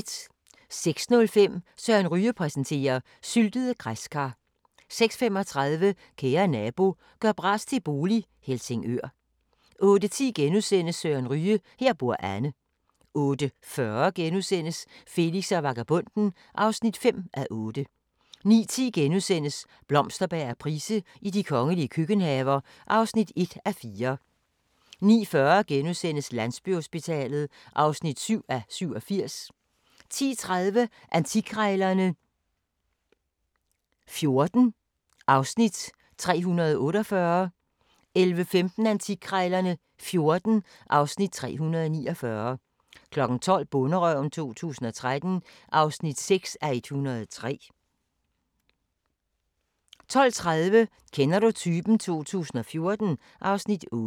06:05: Søren Ryge præsenterer: Syltede græskar 06:35: Kære nabo – gør bras til bolig - Helsingør 08:10: Søren Ryge: Her bor Anne * 08:40: Felix og vagabonden (5:8)* 09:10: Blomsterberg og Price i de kongelige køkkenhaver (1:4)* 09:40: Landsbyhospitalet (7:87)* 10:30: Antikkrejlerne XIV (Afs. 348) 11:15: Antikkrejlerne XIV (Afs. 349) 12:00: Bonderøven 2013 (6:103) 12:30: Kender du typen? 2014 (Afs. 8)